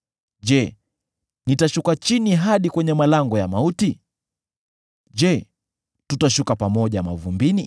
Je, litashuka chini hadi kwenye malango ya mauti? Je, tutashuka pamoja mavumbini?”